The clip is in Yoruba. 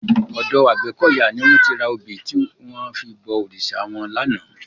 Òdò Agbekoya ni wòn ti rá óbi tiwòn fi bò órisá wòn làná